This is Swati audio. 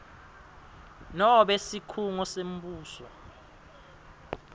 nobe sikhungo sembuso